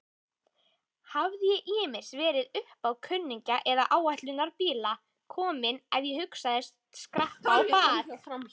Hafði ég ýmist verið uppá kunningja eða áætlunarbíla kominn ef ég hugðist skreppa á bak.